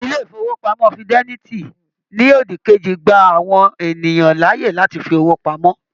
Ilé ifowopamọ Fidelity ní òdì kejì gbà àwọn ènìyàn láàyè láti fí owó pamọ́.